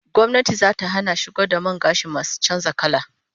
Gwamnati zata hana shigo da man gashi masu canza kalar fata